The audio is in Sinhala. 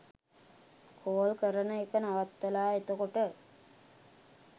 කෝල් කරන එක නවත්තලා එතකොට.